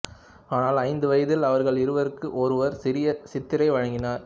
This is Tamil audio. ஆனால் ஐந்து வயதில் அவர்கள் இவருக்கு ஒரு சிறிய சித்தாரை வழங்கினர்